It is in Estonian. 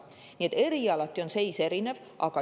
Nii et erialati on seis erinev.